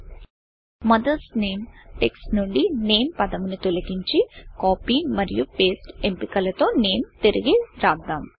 mothers NAMEమదర్స్ name text నుండి NAMEనేమ్ పదమును తొలగించి కాపీ మరియు పేస్ట్ ఎంపికల తో నేమ్ నేమ్తిరిగి రాద్దాం